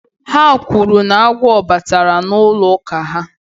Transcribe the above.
Ha kwuru na agwọ batara n'ụlọ ụka ha